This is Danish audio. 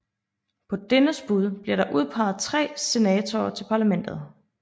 På dennes bud bliver der udpeget tre senatorer til parlamentet